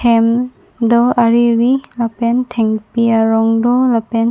hem do ariri lapen thengpi arong do lapen--